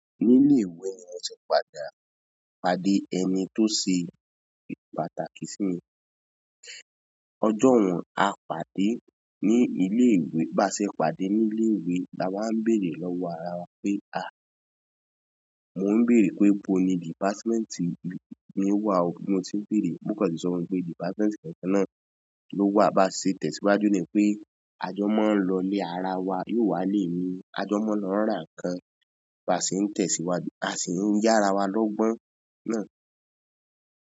Ní ilé ìwé ni mo ti padà, pàdé ẹni tó ṣe pàtàkì sí mi. Ọjọ́ wọ́n á pàdé ní ilé ìwé, bà ṣe pàdé ní ilé ìwé. La wá béèrè lọ́wọ́ ara wa pé, mo béèrè pé ibo ni department yín wà o, bí ó ṣe béèrè ó kàn ṣe sọ fún mí pé department kankan náà lówà. A sì ń tẹ̀síwájú ní pé àjọ̀mọ́ ń lọlé ara wa yóò wá ilé ìwé. Àjọ̀mọ́ máa lọ ń ràn kan. A sì ń tẹ̀síwájú, a sì ń yára wa lọ́gbọ́n náà.